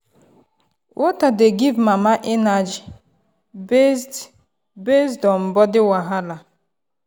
water dey give mama energy based based on body wahala.